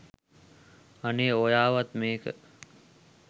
අනේ ඔයාවත් මේක